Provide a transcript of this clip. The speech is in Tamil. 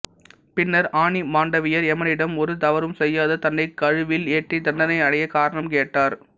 பின்னர் ஆணி மாண்டவியர் எமனிடம் ஒரு தவறும் செய்யாத தன்னைக் கழுவில் ஏற்றித் தண்டனை அடைய காரணம் கேட்டார்